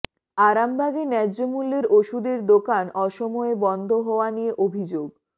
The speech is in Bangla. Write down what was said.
আরামবাগে ন্যায্যমূল্যের ওষুধের দোকান অসময়ে বন্ধ হওয়া নিয়ে অভিযোগ